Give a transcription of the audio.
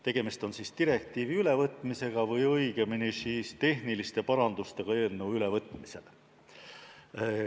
Tegemist on direktiivi ülevõtmisega või õigemini tehniliste parandustega eelnõu ülevõtmisel.